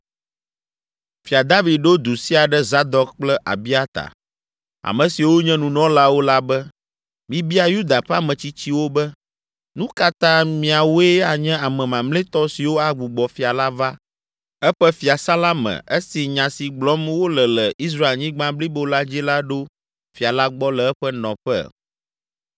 Fia David ɖo du sia ɖe Zadok kple Abiata, ame siwo nye nunɔlawo la be, “Mibia Yuda ƒe ametsitsiwo be, ‘Nu ka ta miawoe anye ame mamlɛtɔ siwo agbugbɔ fia la va eƒe fiasã la me esi nya si gblɔm wole le Israelnyigba blibo la dzi la ɖo fia la gbɔ le eƒe nɔƒe?